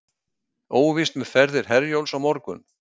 Óvíst með ferðir Herjólfs á morgun